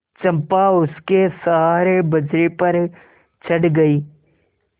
चंपा उसके सहारे बजरे पर चढ़ गई